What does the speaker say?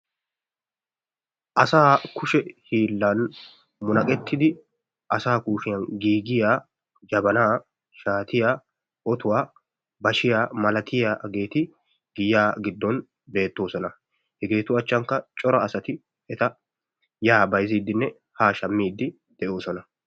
Asaa kushe hiillan munaqettidi asaa kushiyan giigiya jabanaa, shaatiya, otuwa, bashiya malatiyageeti giyaa giddon beettoosona. Hegeetu achchankka cora asati eta yaa bayzziiddinne haa shammiiddi de'oosona.